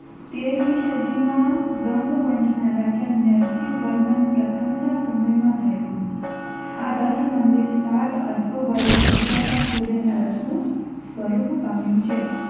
તેરમી સદીમાં ગંગવંશના રાજા નરસિંહવર્મન પ્રથમના સમયમાં થયું. આ રથ મંદિર સાત અશ્વો વડે ખેંચાતા સૂર્યના રથનું સ્વરૂપ પામ્યું છે.